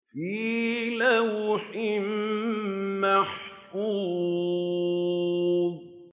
فِي لَوْحٍ مَّحْفُوظٍ